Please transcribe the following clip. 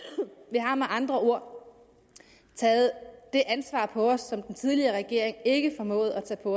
vi har med andre ord taget det ansvar på os som den tidligere regering ikke formåede at tage på